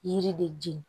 Yiri de jɛn